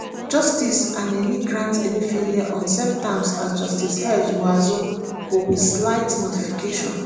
justice anenih grant emefiele on same terms as justice h muazu but wit slight modification.